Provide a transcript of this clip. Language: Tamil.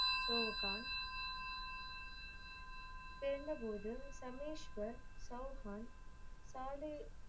சவுகான் பிறந்த போது சமேஷ்வர் சவுகான் தாலே